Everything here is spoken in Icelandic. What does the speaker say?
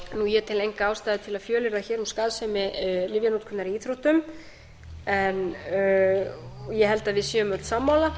ég tel enga ástæðu til að fjölyrða hér um skaðsemi lyfjanotkunar í íþróttum ég held að við séum öll sammála